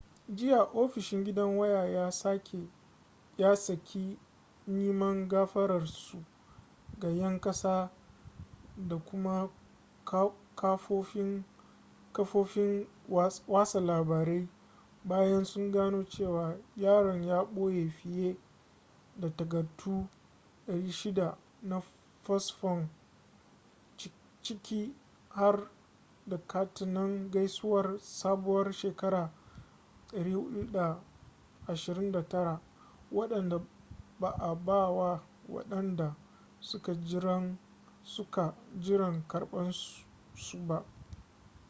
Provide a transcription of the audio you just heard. jiya ofishin gidan waya ya saki neman gafararsu ga 'yan ƙasa da kuma kafofin watsa labarai bayan sun gano cewa yaron ya ɓoye fiye da takardu 600 na fasfon ciki har da katinan gaisuwar sabuwar shekara 429 waɗanda ba a ba wa waɗanda suka jiran karɓarsu ba